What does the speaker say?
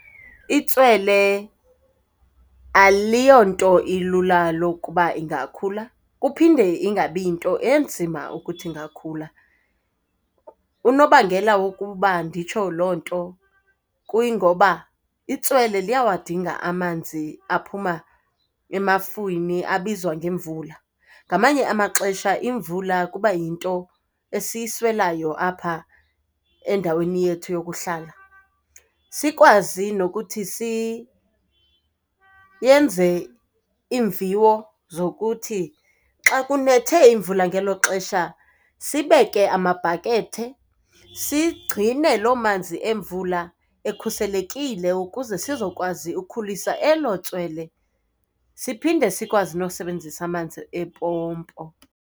Itswele aliyonto ilula lokuba ingakhula, kuphinde kungabi yinto enzima ukuthi ingakhula. Unobangela wokuba nditsho loo nto kuyingoba itswele liyawadinga amanzi aphuma emafwini abizwa ngemvula. Ngamanye amaxesha imvula kuba yinto esiyiswelayo apha endaweni yethu yokuhlala. Sikwazi nokuthi yenze iimviwo zokuthi xa kunethe imvula ngelo xesha, sibeke amabhakethe sigcine loo manzi emvula ekhuselekile ukuze sizokwazi ukukhulisa elo tswele, siphinde sikwazi nosebenzisa amanzi empompo.